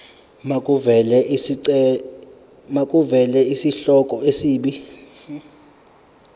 makuvele isihloko isib